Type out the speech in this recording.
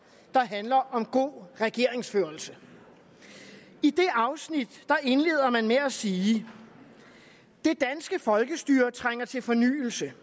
der handler om god regeringsførelse i det afsnit indleder man med at sige det danske folkestyre trænger til fornyelse